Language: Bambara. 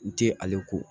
N tɛ ale ko